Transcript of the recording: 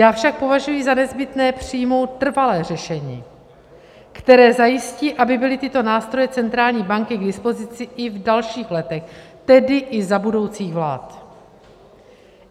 Já však považuji za nezbytné přijmout trvalé řešení, které zajistí, aby byly tyto nástroje centrální banky k dispozici i v dalších letech, tedy i za budoucích vlád.